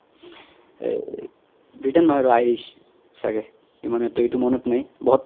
এহ britain নহয় আৰু irish চাগে ইমান এইতো এইতো মনত নাই